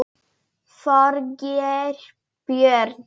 Þorgeir Björn.